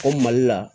O mali la